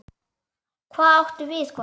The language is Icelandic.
Hvað áttu við, kona?